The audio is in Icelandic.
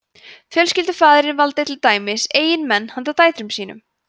fjölskyldufaðirinn valdi til dæmis eiginmenn handa dætrum sínum